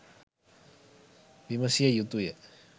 විමසිය යුතුය.